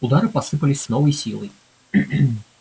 удары посыпались с новой силой